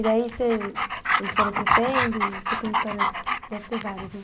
E daí, eles foram crescendo e você tem histórias, deve ter várias, né?